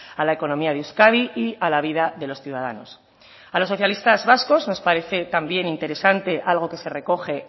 a la economía de euskadi y a la vida de los ciudadanos a los socialistas vascos nos parece también interesante algo que se recoge